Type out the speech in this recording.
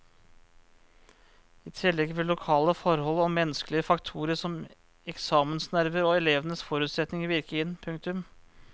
I tillegg vil lokale forhold og menneskelige faktorer som eksamensnerver og elevens forutsetninger virke inn. punktum